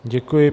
Děkuji.